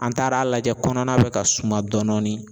An taara a lajɛ kɔnɔna bɛ ka suma dɔɔni dɔɔni.